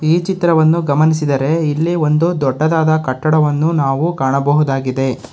ಈ ಚಿತ್ರವನ್ನು ಈ ಚಿತ್ರದಲ್ಲಿ ಒಂದು ದೊಡ್ಡದಾದ ಕಟ್ಟಡವನ್ನು ಗಮನಿಸಬಹುದಾಗಿದೆ.